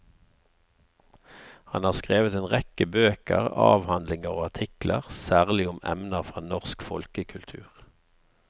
Han har skrevet en rekke bøker, avhandlinger og artikler, særlig om emner fra norsk folkekultur.